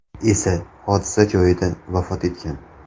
esa hodisa joyida vafot etgan.